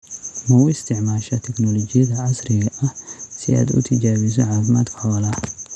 Ma u isticmaashaa tignoolajiyada casriga ah si aad u tijaabiso caafimaadka xoolaha?